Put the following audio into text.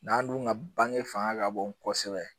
N'an dun ka bange fanga ka bon kosɛbɛ